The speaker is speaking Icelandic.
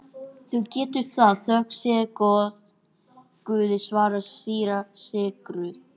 Þú getur það, þökk sé Guði, svaraði síra Sigurður.